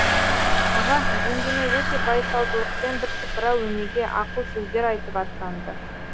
аға жеңгеме өте байсалдылықпен бірсыпыра өнеге ақыл сөздер айтып аттанды